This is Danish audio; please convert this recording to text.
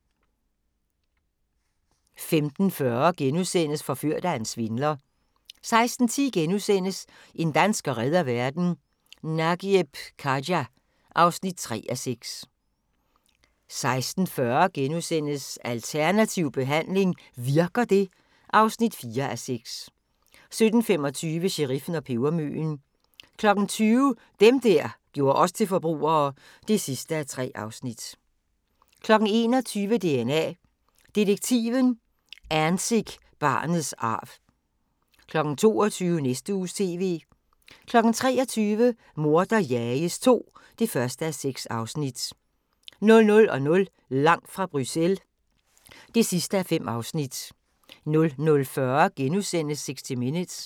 15:40: Forført af en svindler (4:6)* 16:10: En dansker redder verden - Nagieb Khaja (3:6)* 16:40: Alternativ behandling - virker det? (4:6)* 17:25: Sheriffen og pebermøen 20:00: Dem der gjorde os til forbrugere (3:3) 21:00: DNA Detektiven – Anzick-barnets arv 22:00: Næste Uges TV 23:00: Morder jages II (1:6) 00:00: Langt fra Bruxelles (5:5) 00:40: 60 Minutes *